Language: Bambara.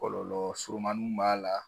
Kɔlɔlɔ surumanninw b'a la